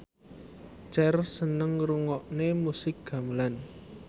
Cher seneng ngrungokne musik gamelan